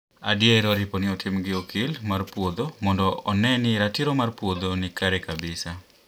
Adier oripo ni itimo gi okil mar puodho mondo one ni ratiro mar puodho ni kare kabisa